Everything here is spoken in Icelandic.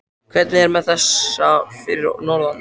Hvernig er með þessa fyrir norðan?